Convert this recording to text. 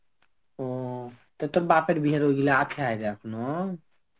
ও তা তোর বাপের বিয়ার ঐগুলো আছে এখনো?